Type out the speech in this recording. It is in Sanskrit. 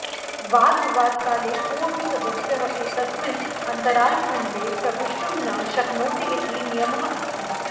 वादविवादकाले कोऽपि सदस्यः एतस्मिन् अन्तरालखण्डे प्रविष्टुं न शक्नोति इति नियमः अस्ति